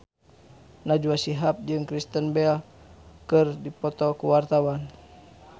Najwa Shihab jeung Kristen Bell keur dipoto ku wartawan